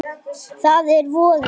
Það er voði